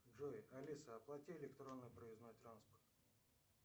джой алиса оплати электронный проездной транспорт